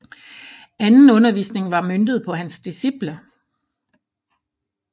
Anden undervisning var møntet på hans disciple